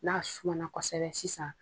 N'a suma na kɔsɛbɛ sisan